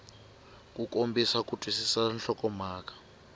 ku kombisa ku twisisa nhlokomhaka